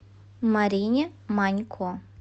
марине манько